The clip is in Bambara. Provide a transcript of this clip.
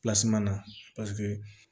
na